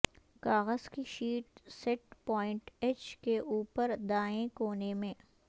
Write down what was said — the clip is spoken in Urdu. کاغذ کی شیٹ سیٹ پوائنٹ ایچ کے اوپری دائیں کونے میں